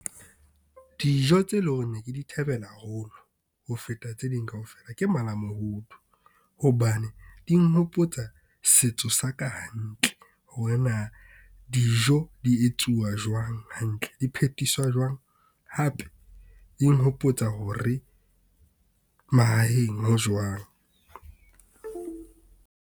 Dijo tse lo reng ne ke di thabela haholo ho feta tse ding kaofela ke mala-mohodu hobane di nhopotsa setso sa ka hantle. Hore na dijo di etsuwa jwang, hantle, di phethiswa jwang. Hape e nhopotsa hore mahaheng ho jwang.